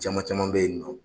Caman caman bɛ yen nɔ.